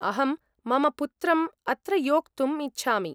अहं मम पुत्रम् अत्र योक्तुम् इच्छामि।